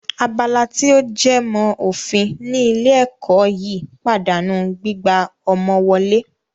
Abala tí ó jẹ mọ́ òfin ní ilé ẹ̀kọ́ yìí pàdánù gbígbà ọmọ wọlé